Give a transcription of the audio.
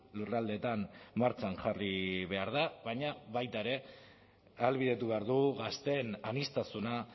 lurraldeetan martxan jarri behar da baina baita ere ahalbidetu behar du gazteen aniztasuna